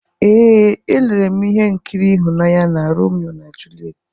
Ee, elere m ihe nkiri ịhụnanya na Romeo na Juliet.